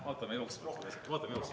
Vaatame jooksvalt.